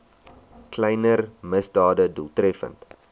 kleiner misdade doeltreffend